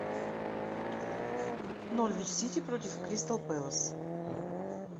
норвич сити против кристал пэлас